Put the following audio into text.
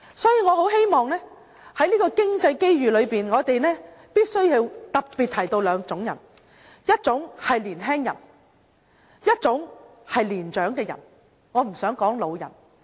因此，在經濟機遇上，我們必須特別提到兩種人，一種是年輕人，一種是年長的人，我不想說是老人。